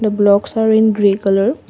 the blocks are in grey colour.